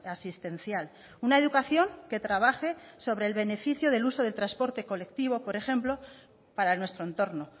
asistencial una educación que trabaje sobre el beneficio del uso del transporte colectivo por ejemplo para nuestro entorno